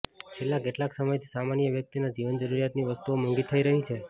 છેલ્લા કેટલાંક સમયથી સામાન્ય વ્યક્તિના જીવન જરૂરિયાતની વસ્તુઓ મોંઘી થઇ રહી છે